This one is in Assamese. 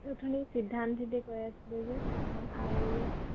এ অথনি সিদ্ধান্ত যদি কয়, সিদ্ধান্ত আহিলে আ